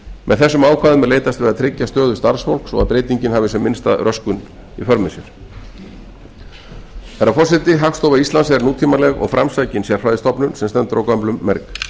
með þessum ákvæðum er leitast við að tryggja stöðu starfsfólks svo að breytingin hafi sem minnsta röskun í för með sér herra forseti hagstofa íslands er nútímaleg og framsækin sérfræðistofnun sem stendur á gömlum merg